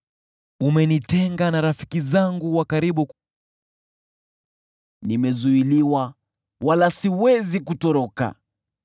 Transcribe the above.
Umenitenga na rafiki zangu wa karibu na kunifanya chukizo kwao. Nimezuiliwa, wala siwezi kutoroka;